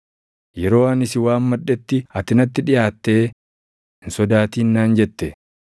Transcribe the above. Yeroo ani si waammadhetti ati natti dhiʼaattee “Hin sodaatin” naan jette.